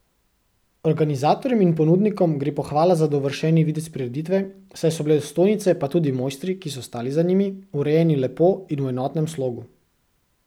Organizatorjem in ponudnikom gre pohvala za dovršeni videz prireditve, saj so bile stojnice pa tudi mojstri, ki so stali za njimi, urejeni lepo in v enotnem slogu.